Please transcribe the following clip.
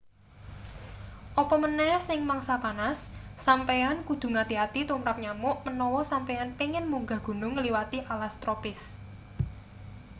apa maneh ing mangsa panas sampeyan kudu ngati-ati tumrap nyamuk menawa sampeyan pengin munggah gunung ngliwati alas tropis